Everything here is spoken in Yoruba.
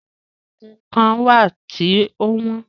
Àwọn oògùn kán wà tí o wọ́n.